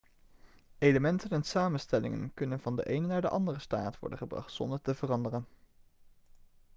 elementen en samenstellingen kunnen van de ene naar de andere staat worden gebracht zonder te veranderen